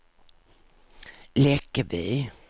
Läckeby